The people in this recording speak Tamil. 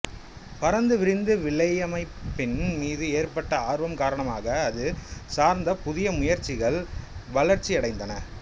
பரந்து விரிந்த வலையமைப்பின் மீது ஏற்பட்ட ஆர்வம் காரணமாக அது சார்ந்த புதிய முயற்சிகள் வளர்ச்சியடைந்தன